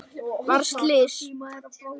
Varð slys?